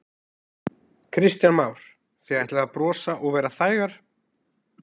Kristján Már: Þið ætlið að brosa og vera þægar?